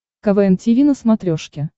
квн тиви на смотрешке